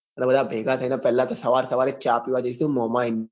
બધા ભેગા થઇ ને પેલા તો સવાર સવાર માં ચા પીવા જઈશું ને મોમીન